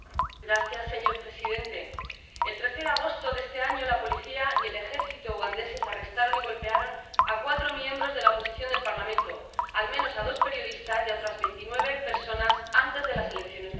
Señor presidente, el 13 de agosto de este año la policía y el ejército ugandeses arrestaron y golpearon a cuatro miembros de la oposición del Parlamento, al menos a dos periodistas y a otras veintinueve personas antes de las elecciones locales.